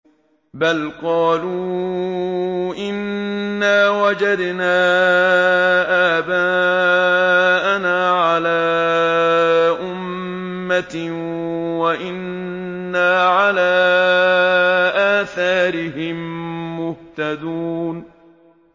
بَلْ قَالُوا إِنَّا وَجَدْنَا آبَاءَنَا عَلَىٰ أُمَّةٍ وَإِنَّا عَلَىٰ آثَارِهِم مُّهْتَدُونَ